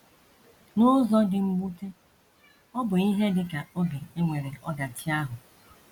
N’ụzọ dị mwute, ọ bụ ihe dị ka oge e nwere ọdachi ahụ.